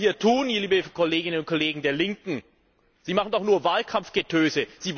Was Sie hier tun, liebe Kolleginnen und Kollegen der Linken, ist doch nur Wahlkampfgetöse.